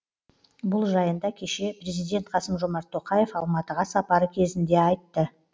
бұл жайында кеше президент қасым жомарт тоқаев алматыға сапары кезінде айтты